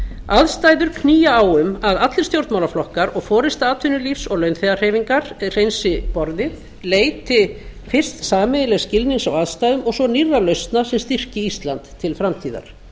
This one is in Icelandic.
aðstæður knýja á um að allir stjórnmálaflokkar og forusta atvinnulífs og launþegahreyfingar hreinsi borðið leiti fyrst sameiginlegs skilnings á aðstæðum og svo nýrrar lausnar sem styrkti ísland til framtíðar